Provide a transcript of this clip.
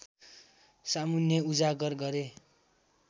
सामुन्ने उजागर गरे